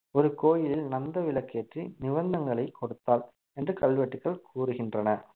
ஒரு கோயிலில் நந்த விளக்கேற்றி நிவந்தங்களை கொடுத்தாள் என்று கல்வெட்டுகள் கூறுகின்றன